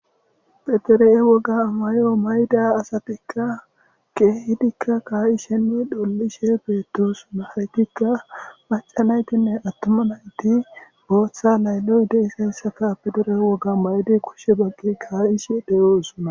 Phedere'e woga may'o mayda asatikka keehidikka kayi shenne dhollishe beettosuna haytikka macanaytinne attoma nayti booththa layloy deisayssaka pedere'e woga may'di kushshe bagqi kaa'ishe deyoosuna.